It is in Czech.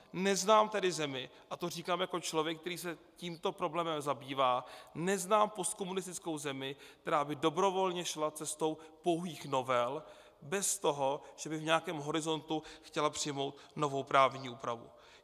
Neznám tedy zemi, a to říkám jako člověk, který se tímto problémem zabývá, neznám postkomunistickou zemi, která by dobrovolně šla cestou pouhých novel bez toho, že by v nějakém horizontu chtěla přijmout novou právní úpravu.